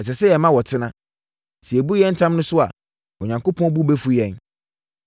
Ɛsɛ sɛ yɛma wɔtena. Sɛ yɛbu yɛn ntam no so a, Onyankopɔn bo bɛfu yɛn.